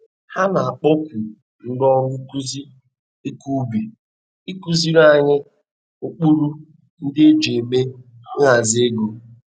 Ha na-akpọku ndi ọrụ nkuzi ikọ ubi ikụziri anyị ụkpụrụ ndi e ji eme nhazi ego